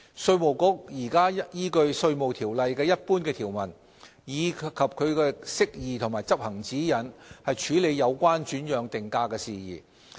稅務局現時依據《稅務條例》的一般條文，以及其釋義及執行指引，處理有關轉讓定價的事宜。